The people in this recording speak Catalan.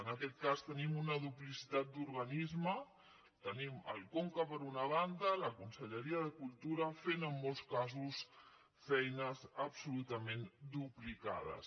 en aquest cas tenim una duplicitat d’organismes tenim el conca per una banda la conselleria de cultura fent en molts caos feines absolutament duplicades